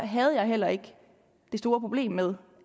havde jeg heller ikke det store problem med